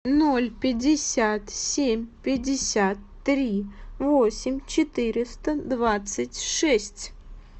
ноль пятьдесят семь пятьдесят три восемь четыреста двадцать шесть